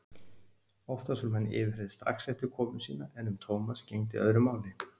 Oftast voru menn yfirheyrðir strax eftir komu sína en um Thomas gegndi öðru máli.